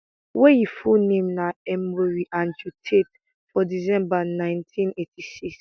wey im full name na emory andrew tate for december ninety eighty six